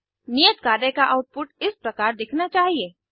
नियत कार्य का आउटपुट इस प्रकार दिखना चाहिए